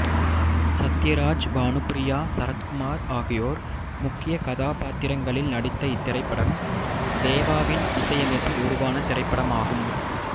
சத்யராஜ் பானுப்ரியா சரத்குமார் ஆகியோர் முக்கிய கதாபாத்திரங்களில் நடித்த இத்திரைப்படம் தேவாவின் இசையமைப்பில் உருவான திரைப்படமாகும்